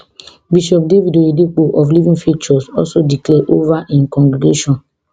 bishop david oyedepo of living faith church also declare over im congregation